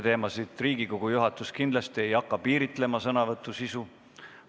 Riigikogu juhatus ei hakka kindlasti sõnavõtu sisu piiritlema.